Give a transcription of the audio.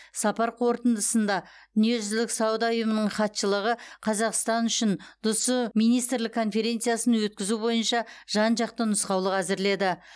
сапар қорытындысында дүниежүзілік сауда ұйымының хатшылығы қазақстан үшін дсұ министрлік конференциясын өткізу бойынша жан жақты нұсқаулық әзірледі